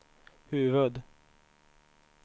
huvud